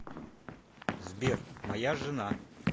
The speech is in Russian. сбер моя жена